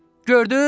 Gördüz?